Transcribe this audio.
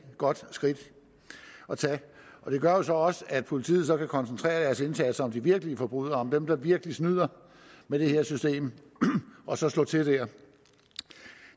godt skridt at tage og det gør jo så også at politiet så kan koncentrere sin indsats om de virkelige forbrydere dem der virkelig snyder med det her system og så slå til der